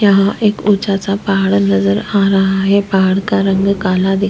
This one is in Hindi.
यहाँ एक ऊचा सा पहाड़ नज़र आ रहा पहाड़ का रंग काला दिख--